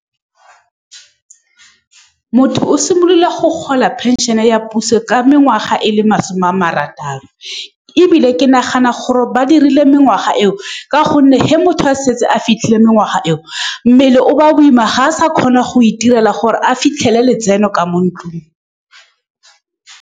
Motho o simolola go gola pension-e ya puso ka mengwaga e le masome a marataro. Ebile, ke nagana gore ba dirile mengwaga eo ka gonne fa motho a setse a fitlhile mengwaga eo, mmele o ba boima, ga a sa kgona go itirela gore a fitlhele letseno ka mo ntlung.